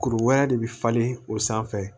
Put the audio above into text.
Kuru wɛrɛ de bɛ falen o sanfɛ